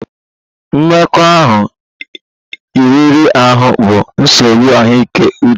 Mmekọahụ riri ahụ bụ nsogbu ahụike uche